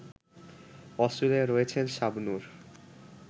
Australia রয়েছেন শাবনূর